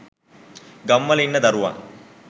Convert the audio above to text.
ගම්වල ඉන්න දරුවන්